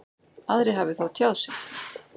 Aðrir hafi þó tjáð sig.